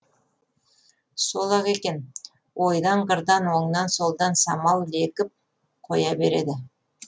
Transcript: сол ақ екен ойдан қырдан оңнан солдан самал лекіп қоя береді